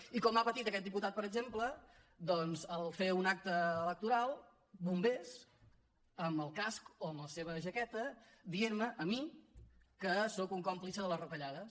i com ha patit aquest diputat per exemple al fer un acte electoral bombers amb el casc o amb la seva jaqueta dient me a mi que sóc un còmplice de les retallades